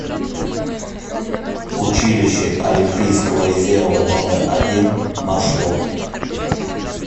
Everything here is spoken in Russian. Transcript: училище олимпийского резерва номер один маршрут